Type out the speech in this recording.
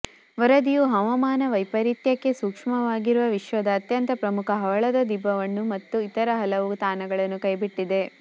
ವರದಿಯು ಹವಾಮಾನ ವೈಪರೀತ್ಯಕ್ಕೆ ಸೂಕ್ಷ್ಮವಾಗಿರುವ ವಿಶ್ವದ ಅತ್ಯಂತ ಪ್ರಮುಖ ಹವಳದ ದಿಬ್ಬವನ್ನು ಮತ್ತು ಇತರ ಹಲವು ತಾಣಗಳನ್ನು ಕೈಬಿಟ್ಟಿದೆ